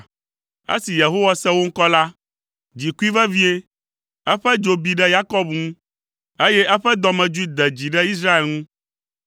Esi Yehowa se wo ŋkɔ la, dzi kui vevie; eƒe dzo bi ɖe Yakob ŋu, eye eƒe dɔmedzoe de dzi ɖe Israel ŋu,